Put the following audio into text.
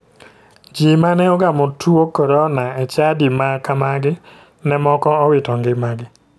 Ji mane ogamo tuo korona e chadi ma kamagi ne moko owito ngimagi.